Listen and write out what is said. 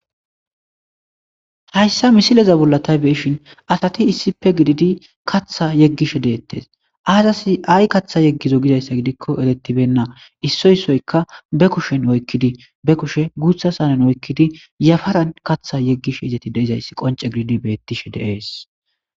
Hayssa misileza bolla tha be7ishin asathi issippe gididi kaththaa yeggishe deeththees; aazathi ay kaththa yeggizayssa giyaba gidikko ereththibeenna; issoy issoykka be kushen oykkidi be kushe guuththa oykkidi yafaran kaththa yeggishezethi de7izayssi qoncce gididi de7izayssi beeththishe de7ees.